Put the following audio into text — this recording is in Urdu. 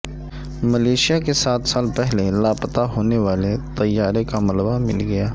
ملائیشیا کے سات سال پہلے لاپتہ ہونے والے طیارے کا ملبہ مل گیا